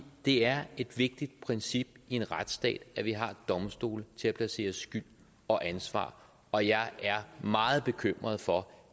det er et vigtigt princip i en retsstat at vi har domstole til at placere skyld og ansvar og jeg er meget bekymret for